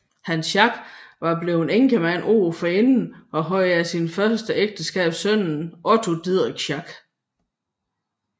Hans Schack var blevet enkemand året forinden og havde af sit første ægteskab sønnen Otto Didrik Schack